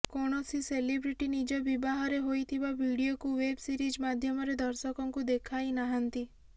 କୌଣସି ସେଲିବ୍ରିଟି ନିଜ ବିବାହରେ ହୋଇଥିବା ଭିଡିଓକୁ ୱେବ ସିରିଜ ମାଧ୍ୟମରେ ଦର୍ଶକଙ୍କୁ ଦେଖାଇନାହାନ୍ତି